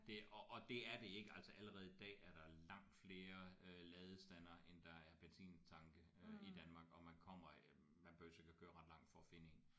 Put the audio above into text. Det og det er det ikke altså allerede i dag er der langt flere øh ladestandere end der er benzintanke øh i Danmark og man kommer øh man behøves ikke at køre ret langt for at finde en